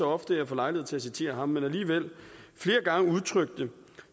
ofte jeg får lejlighed til at citere ham men alligevel flere gange udtrykte